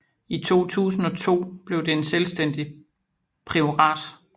I 2002 blev det en selvstændig priorat